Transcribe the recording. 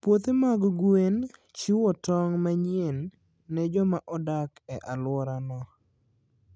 Puothe mag gwen chiwo tong' manyien ne joma odak e alworano.